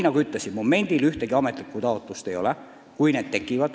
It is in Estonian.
Nagu ma ütlesin, momendil ühtegi ametlikku taotlust ei ole.